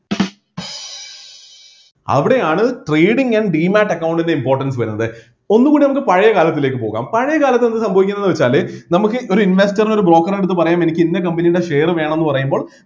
അവിടെയാണ് trading and demate account ൻ്റെ importance വരുന്നത് ഒന്നുകൂടെ ഒന്ന് പഴയ കാലത്തിലേക്ക് പോകാം പഴയകാലത്ത് എന്ത് സംഭവിക്കുന്നു വെച്ചാല് നമ്മക്ക് ഒരു investor ന് ഒരു broker എ അടുത്ത് പറയ എനിക്ക് ഇന്ന company യുടെ share വേണമെന്ന് പറയുമ്പോൾ